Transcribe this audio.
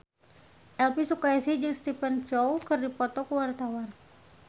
Elvy Sukaesih jeung Stephen Chow keur dipoto ku wartawan